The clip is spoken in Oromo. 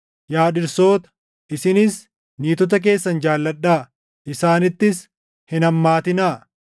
Yaa dhirsoota, isinis niitota keessan jaalladhaa; isaanittis hin hammaatinaa.